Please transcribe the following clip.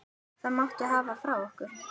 Það máttu hafa frá okkur.